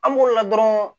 An b'o la dɔrɔn